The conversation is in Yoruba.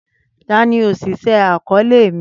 Tani oṣiṣẹ akọọlẹ mi?